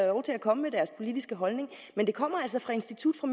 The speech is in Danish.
lov til at komme med deres politiske holdning men det kommer altså fra institut for